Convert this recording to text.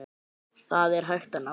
Það er hægt að ná því.